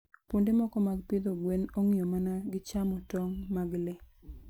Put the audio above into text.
Kuonde moko mag pidho gwen ong'iyo mana gi chamo tong' mag le.